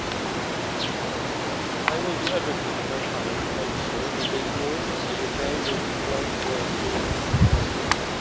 Article 50. I will do everything in my power to make sure that the EU and the UK will be close friends in the